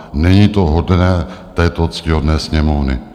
Není to hodné této ctihodné Sněmovny.